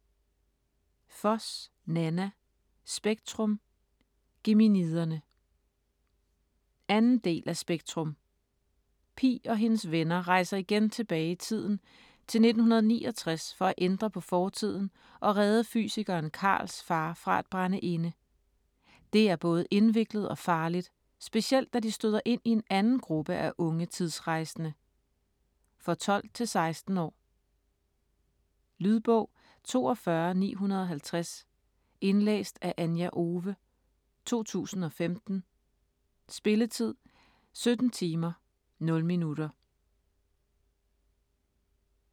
Foss, Nanna: Spektrum - Geminiderne 2. del af Spektrum. Pi og hendes venner rejser igen tilbage i tiden, til 1969, for at ændre på fortiden og redde fysikeren Karls far fra at brænde inde. Det er både indviklet og farligt, specielt da de støder ind i en anden gruppe af unge tidsrejsende. For 12-16 år. Lydbog 42950 Indlæst af Anja Owe, 2015. Spilletid: 17 timer, 0 minutter.